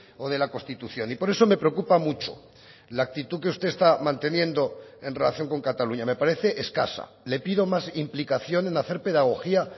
o de la constitución y por eso me preocupa mucho la actitud que usted está manteniendo en relación con cataluña me parece escasa le pido más implicación en hacer pedagogía